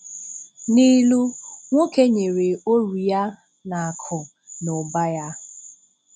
N’ìlú nwókè nyèrè orù-ya na akụ́ na ụ̀bà ya.